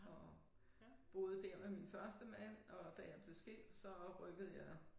Og boede dér med min første mand og da jeg blev skilt så rykkede jeg